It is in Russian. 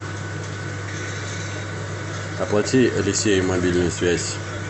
оплати алексею мобильную связь